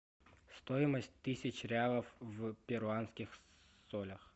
стоимость тысячи реалов в перуанских солях